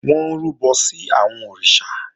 Wọ́n ń rúbọ sí àwọn òrìṣà